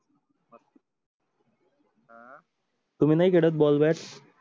तुम्ही नाई खेडत ball bat